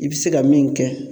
I bI se ka min kɛ